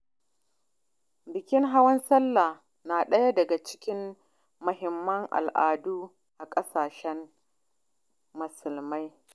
Bikin hawan sallah na daya daga cikin muhimman al’adu a ƙasashen musulmi.